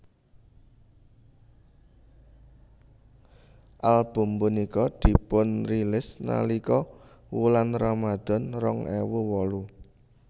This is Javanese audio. Album punika dipunrilis nalika wulan Ramadhan rong ewu wolu